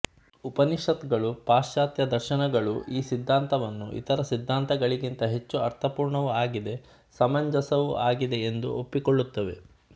ಉಪನಿಷತ್ತುಗಳೂ ಪಾಶ್ಚಾತ್ಯದರ್ಶನಗಳೂ ಈ ಸಿದ್ಧಾಂತವನ್ನು ಇತರ ಸಿದ್ಧಾಂತಗಳಿಗಿಂತ ಹೆಚ್ಚು ಅರ್ಥಪೂರ್ಣವೂ ಆಗಿದೆ ಸಮಂಜಸವೂ ಆಗಿದೆ ಎಂದು ಒಪ್ಪಿಕೊಳ್ಳುತ್ತವೆ